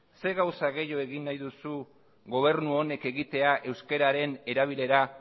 zer gauza gehiago egin nahi duzu gobernu honek egitea euskararen erabilera